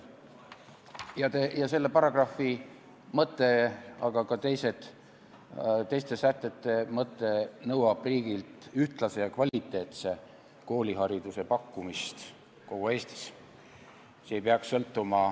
Selle paragrahvi mõte, aga ka teiste sätete mõte nõuab riigilt ühtlase ja kvaliteetse koolihariduse pakkumist kogu Eestis.